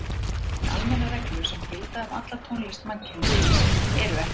En almennar reglur sem gildi um alla tónlist mannkynsins eru ekki til.